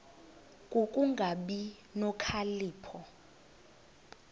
ku kungabi nokhalipho